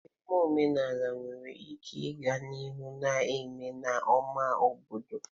Mmeme omenala nwere ike ịga n'ihu na-eme n'ámá obodo.